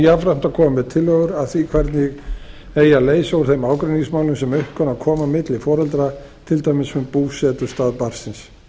jafnframt að koma með tillögur að því hvernig eigi að leysa úr þeim ágreiningsmálum sem upp kunna að koma milli foreldra til dæmis um búsetustað barnsins